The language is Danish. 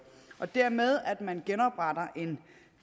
og dermed at man genopretter en